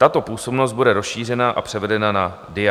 Tato působnost bude rozšířena a převedena na DIA.